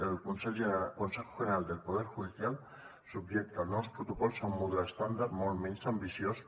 el consejo general del poder judicial subjecta els nous protocols a un model estàndard molt menys ambiciós